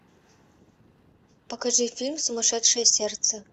покажи фильм сумасшедшее сердце